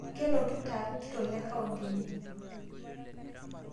Kelotuta lkitok lecounti ene